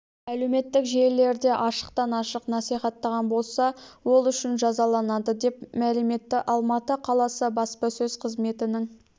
әлеуметтік желілерде ашықтан-ашық насихаттаған болса ол үшін жазаланады деп мәлім етті алматы қаласы баспасөз қызметінің